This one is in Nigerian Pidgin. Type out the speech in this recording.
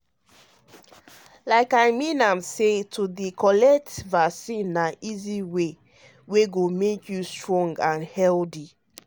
like i mean am say to dey collect um vaccine na easy way wey go make you strong and healthy. um